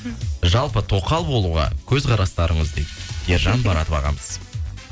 жалпы тоқал болуға көзқарастарыңыз дейді ержан баратов ағамыз